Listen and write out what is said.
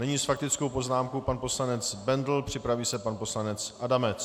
Nyní s faktickou poznámkou pan poslanec Bendl, připraví se pan poslanec Adamec.